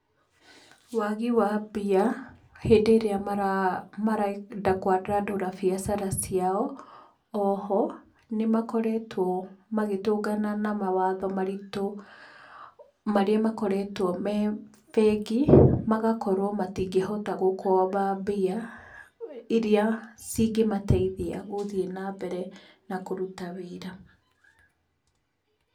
Wagi wa mbia, hĩndĩ ĩrĩa marenda kwandandũra biacara ciao,o ho, nĩ makoretwo magĩtũngana na mawatho maritũ, marĩa makoretwo me bengi, magakorwo matingĩhota gũkomba mbia, iria cingĩmateithia gũthiíĩ na mbere, na kũruta wĩra.